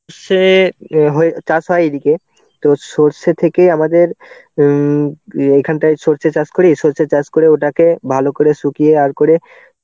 সর্ষে হয়ে~ চাষ হয় এদিকে. তো সর্ষে থেকে আমাদের উম এখানটায় সর্ষে চাষ করি. সর্ষে চাষ করে ওটাকে ভালো করে শুকিয়ে আর করে